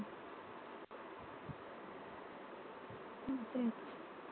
असंय.